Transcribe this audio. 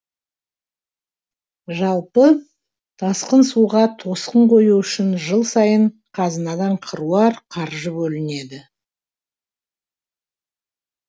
жалпы тасқын суға тосқын қою үшін жыл сайын қазынадан қыруар қаржы бөлінеді